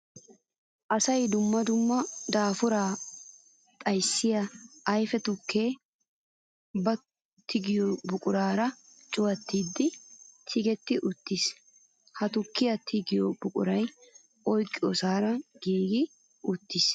Asawu dumma dumma daafura xayssiya ayfe tuke ba tiggiyo buquran cuwattidde tiggetti uttiis. Ha tukiya tiggiddo buquray oyqqiyosara giigi uttiis.